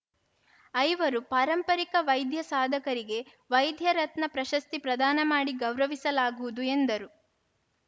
ಐವರು ಪಾರಂಪರಿರ ವೈದ್ಯ ಸಾಧಕರಿಗೆ ವೈದ್ಯ ರತ್ನ ಪ್ರಶಸ್ತಿ ಪ್ರದಾನ ಮಾಡಿ ಗೌರವಿಸಲಾಗುವುದು ಎಂದರು